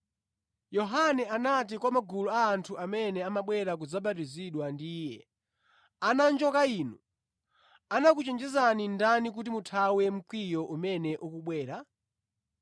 Yohane anati kwa magulu a anthu amene amabwera kudzabatizidwa ndi iye, “Ana anjoka inu! Anakuchenjezani ndani kuti muthawe mkwiyo umene ukubwera?